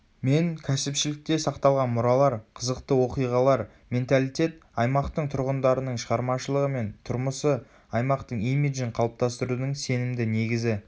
мен кәсіпшілікте сақталған мұралар қызықты оқиғалар менталитет аймақтың тұрғындарының шығармашылығы мен тұрмысы аймақтың имиджін қалыптастырудың сенімді негізі